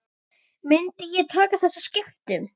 Myndi ég taka þessum skiptum?